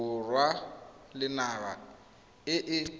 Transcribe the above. borwa le naga e e